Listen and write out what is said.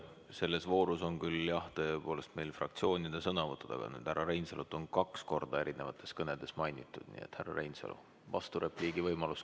Selles voorus on tõepoolest meil fraktsioonide sõnavõtud, aga kuna härra Reinsalu on kaks korda eri kõnedes mainitud, siis on härra Reinsalul vasturepliigi võimalus.